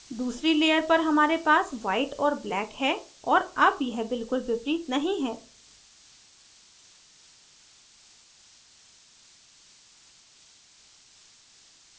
दूसरी layer पर हमारे पास white और black है और अब यह बिलकुल विपरीत नहीं है